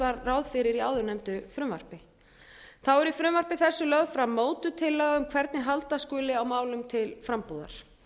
var ráð fyrir í áðurnefndu frumvarpi þá er í frumvarpi þessu lögð fram mótuð tillaga um hvernig halda skuli á málum til frambúðar